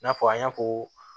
I n'a fɔ an y'a fɔ